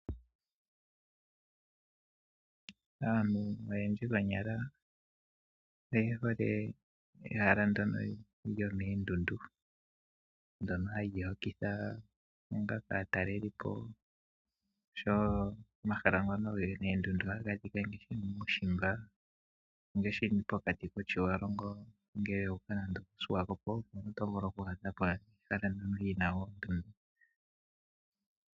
Aantu oyendji konyala oye hole ehala ndono lyo moondundu ndono hali hokitha aatalelipo, oshowo omahala ngono geli moondundu ohaga adhikwa muushimba ngaashi pokati kOtjiwarongo ngele wa uka nande oko Swakopo omuntu oto vulu oku dhi adha po noondeyina wo.